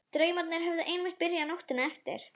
Draumarnir höfðu einmitt byrjað nóttina eftir.